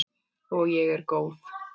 Og ég er góð.